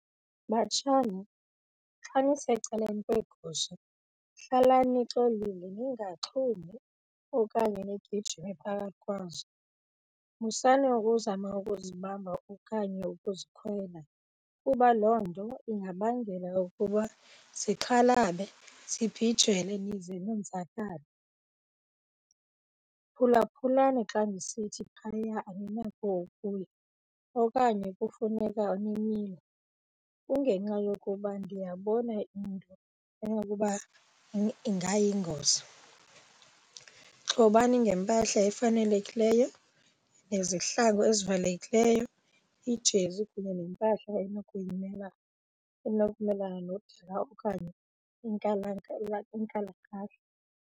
Batshana, xa nisecaleni kweegusha hlalani nixolile ningaxhumi okanye nigijime phakathi kwazo. Musani ukuzama ukuzibamba okanye ukuzikhwela kuba loo nto ingabangela ukuba zikhalale zibhijele nize nonzakale. Phulaphulani xa ndisithi phaya aninako ukuya okanye kufuneka nimile, kungenxa yokuba ndiyabona into enokuba ingayingozi. Xhobani ngempahla efanelekileyo, nezihlangu ezivalekileyo, ijezi kunye nempahla enokumelana nodaka okanye inkalakahla.